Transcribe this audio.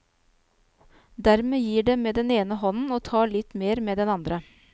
Dermed gir det med den ene hånden og tar litt mer med den andre.